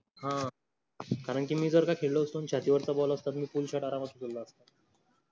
हा कारण कि मी जर खेळलो होतो. आणि छातीवरच ball अस्त मी full shot आरामच खेळलो होतो.